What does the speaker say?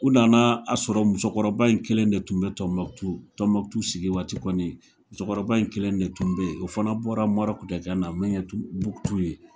U nana a sɔrɔ musokɔrɔba in kelen de tun bɛ Tɔnbɔkutu, Tɔnbɔkutu sigi waati kɔni musokɔrɔba in kelen de tun bɛ yen ,o fana bɔra Marɔku de ka na min ye Bukutu ye.